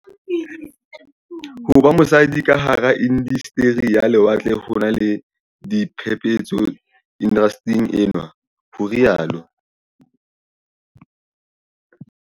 Ho ba mosadi ka hara inda steri ya lewatle ho na le "diphephetso indastering enwa" ho rialo